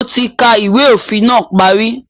Mo ti ka ìwé òfin náà parí